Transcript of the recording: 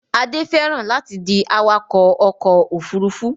Adé fẹ́ràn láti di awakọ̀ ọkọ̀-òfurufú